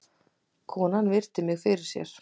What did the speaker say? Konan virti mig fyrir sér.